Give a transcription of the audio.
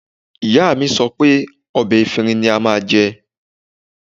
Ìyá mi sọ pé ọ̀bẹ efinrin ni a máa jẹ